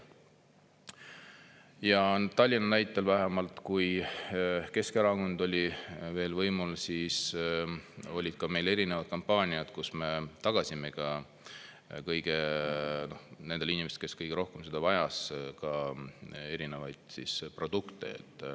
Ja Tallinna näitel vähemalt, kui Keskerakond oli veel võimul, siis olid meil ka erinevad kampaaniad, kus me tagasime kõigile nendele inimestele, kes kõige rohkem seda vajas, ka erinevaid produkte.